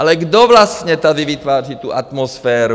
Ale kdo vlastně tady vytváří tu atmosféru?